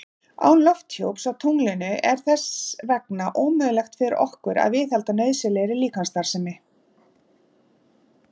Án lofthjúps á tunglinu er þess vegna ómögulegt fyrir okkur að viðhalda nauðsynlegri líkamsstarfsemi.